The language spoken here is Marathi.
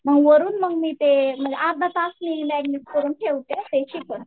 मग वरून मग मी ते अर्धा तास मॅरीनेट करून ठेवते ते चिकन